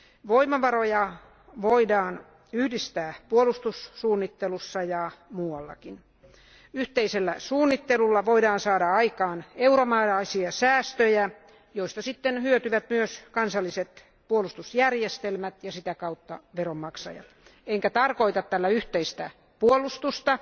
Voimavaroja voidaan yhdistää puolustussuunnittelussa ja muuallakin. Yhteisellä suunnittelulla voidaan saada aikaan euromääräisiä säästöjä, joista sitten hyötyvät myös kansalliset puolustusjärjestelmät ja sitä kautta veronmaksajat. Enkä tarkoita tällä yhteistä puolustusta,